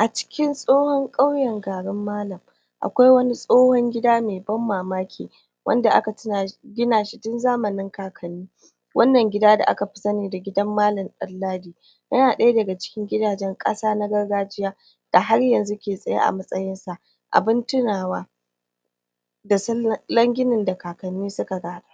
A cikin tsohon ƙauyen garun malan akwai wani tsohon gida mai ban mamaki wanda aka gina ina shi tun zamanin kakanni wannan gida da akafi sani da gidan malan ɗanladi yana ɗaya daga cikin gidajen ƙasa na gargajiya da haryanzu ke tsaye a matsayin sa abun tunawa da sunan ginin da kakkanni suka gada.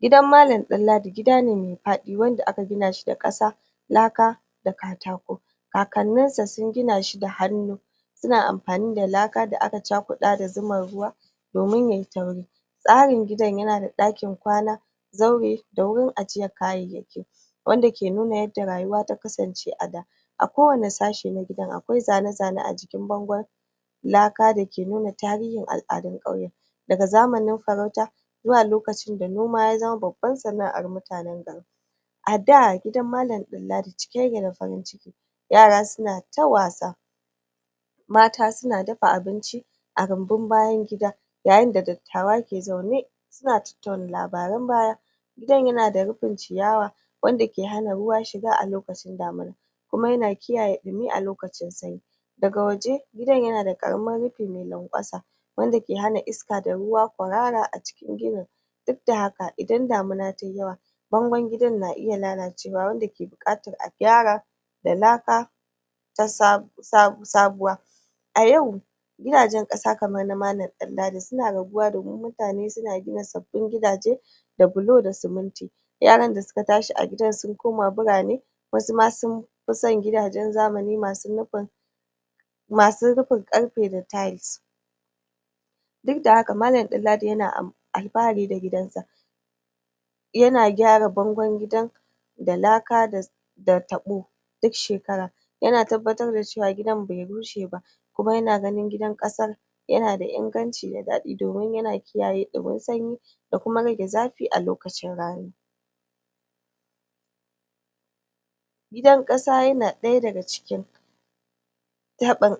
Gidan malan ɗanladi gidane mai faɗi wanda aka gina shi da ƙasa laka da katako. kakannin sa sun gina shi da hannu suna amfani da laka da a cakuɗa da zuman ruwa domin yayi tauri tsarin gidan yana da ɗakin kwana zaure da wurin ajjiyar kayayyaki. wanda ke nuna yadda rayuwa ta kasance a da a kowane sashe na gidan akwai zane-zane a jikin bangon laka dake nuna tarihin al'adun ƙauyen. daga zamanin farauta zuwa lokacin da noma ya zama babbar sana'ar mutanen garin. A da, gidan malan ɗanladi cike yake da farin ciki yara suna ta wasa mata suna dafa abinci a rumbun bayan gida yayin da dattawa ke zaune suna tattauna labarun baya gidan yana da rufin ciyawa wanda ke hana ruwa shiga a lokacin damina. Kuma yana kiyaye ɗumi a lokacin sanyi daga waje gidan yana da ƙaramin rufi mai lanƙwasa wanda ke hana iska da ruwa kwarara a cikin ginin dukda haka idan damana tazo bangon gidan na iya lalacewa wanda ke buƙatar a gyara da laka ta sa sa sabuwa a yau gidajen ƙasa kamar na malan ɗanladi suna raguwa domin mutane suna gida sabbin gidaje da bulo da siminti yaran da suka tashi a gidan sun koma birane wasu ma sun fison gidajen zamani masu rufin masu rufin ƙarfe da tiles. dukda haka malan ɗanladi yana alfahari da gidan sa yana gyara bangon gidan da laka da da taɓo. duk shekara yana tabbatar da cewa gidan bai rushe ba kuma yana ganin gidan ƙasar yana da inganci da da daɗi domin yana kiyaye ɗumin sanyi da kuma rage zafi a lokacin raani. Gidan ƙasa yana ɗaya daga cikin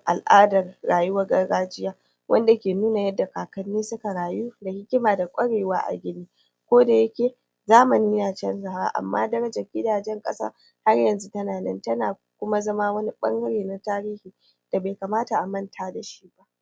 al'adar rayuwar gargajiya. wanda ke nuna yadsa kakanni suka rayu da hikima da ƙwarewa a ko dayake zamani na canzawa amma darajar gidajen ƙasa haryanzu tana nan tana kuma zama wani ɓangare na tarihi da bai kamata a manta dashi ba.